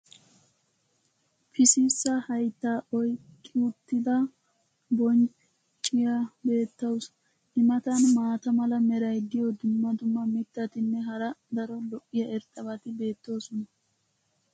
pississa hayttaa oyqqa uttida boncciyaa beetawusu. i matan maata mala meray diyo dumma dumma mitatinne hara daro lo'iya irxxabati beetoosona.